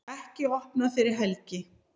Ekki opnað fyrir helgi